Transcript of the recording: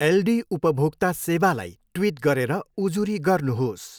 एल्डी उपभोक्ता सेवालाई ट्विट गरेर उजुरी गर्नुहोस्।